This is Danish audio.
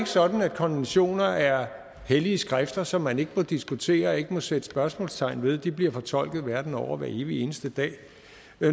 sådan at konventioner er hellige skrifter som man ikke må diskutere og ikke må sætte spørgsmålstegn ved de bliver fortolket verden over hver evig eneste dag